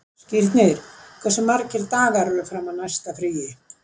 Skírnir, hversu margir dagar fram að næsta fríi?